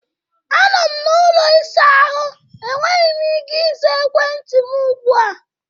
Anọ m na ụlọ ịsa ahụ, enweghị m ike ịza ekwentị m ugbu a